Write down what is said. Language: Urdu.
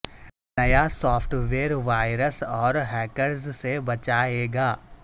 نیا سافٹ ویئر وائرس اور ہیکرز سے بچائے گا